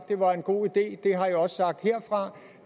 det var en god idé det har jeg også sagt herfra